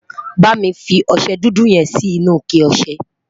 bámi fí ọsẹ dúdú yen Si inú ike ọsẹ